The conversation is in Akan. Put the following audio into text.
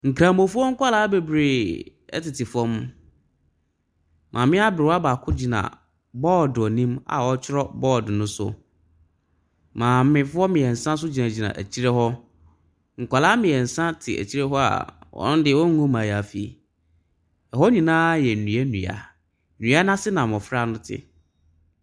Nkremufoɔ kwalaa bebree ɛtete fɔm. Maame abrewa baako gyina bɔd enim a ɔtwerɔ bɔd ne so. Maamefoɔ miɛnsa so gyinagyina ekyire hɔ. Nkwalaa miɛnsa te ekyire hɔ a wɔnde wɔngu mayaafi. Ɛhɔ nyinaa yɛ nduadua, dua n'ase na mbɔfra no te.